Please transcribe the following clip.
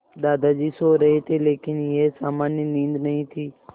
दादाजी सो रहे थे लेकिन यह सामान्य नींद नहीं थी